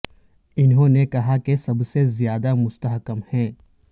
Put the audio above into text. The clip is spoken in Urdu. انہوں نے کہا کہ سب سے زیادہ مستحکم ہے